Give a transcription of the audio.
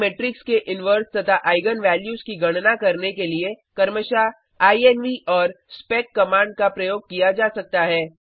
एक मेट्रिक्स के इनवर्स तथा आईगन वैल्यूज की गणना करने के लिए क्रमशः इन्व और स्पेक कमांड का प्रयोग किया जा सकता है